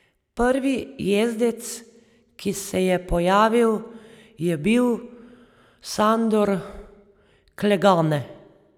Prvi jezdec, ki se je pojavil, je bil Sandor Clegane.